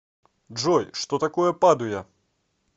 джой что такое падуя